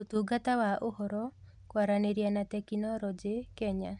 Ũtungata wa Ũhoro, Kwaranĩria na Teknoroji, Kenya.